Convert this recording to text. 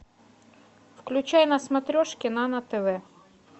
включай на смотрешке нано тв